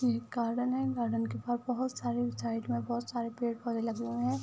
ये एक गार्डन है। गार्डन के बाहर बोहोत सारे साइड में बोहोत सारे पेड़-पौधे लगे हुए हैं।